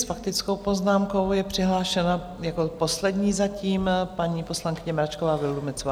S faktickou poznámkou je přihlášena jako poslední zatím paní poslankyně Mračková Vildumetzová.